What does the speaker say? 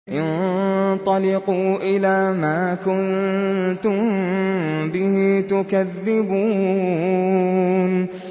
انطَلِقُوا إِلَىٰ مَا كُنتُم بِهِ تُكَذِّبُونَ